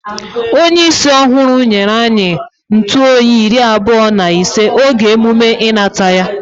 Onye isi ohuru nyere anyi ntụoyi iri-abuo na ise oge emume inata ya